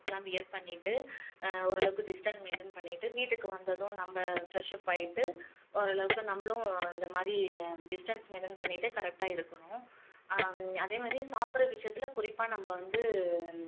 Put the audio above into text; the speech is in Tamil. லாம் wear பண்ணிட்டு ஆஹ் ஓரளவுக்கு distance maintain பண்ணிட்டு வீட்டுக்கு வந்ததும் நம்ம fresh up ஆகிட்டு ஓரளவுக்கு நம்மளும் அந்தமாதிரி distance maintain பண்ணிட்டு correct ஆ இருக்கணும் ஆஹ் அதேமாதிரி சாப்பிடுற விஷயத்துல குறிப்பா நம்ம வந்து